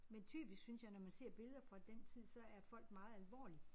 Men typisk synes jeg når man ser billeder fra den tid så er folk meget alvorlige